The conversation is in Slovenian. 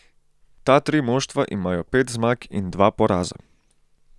Ta tri moštva imajo pet zmag in dva poraza.